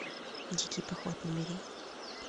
дикий поход набери